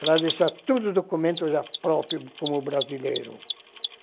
Para deixar todos os documentos já próprios como brasileiro.